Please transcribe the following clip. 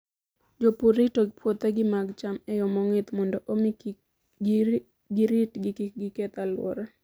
Jopur rito puothegi mag cham e yo mong'ith mondo omi giritgi kik giketh alwora.